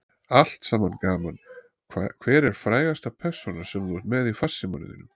Allt saman gaman Hver er frægasta persónan sem þú ert með í farsímanum þínum?